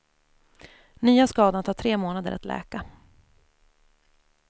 Nya skadan tar tre månader att läka.